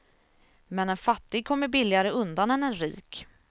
Men en fattig kommer billigare undan än en rik.